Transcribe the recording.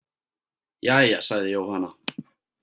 Jæja, sagði Jóhanna.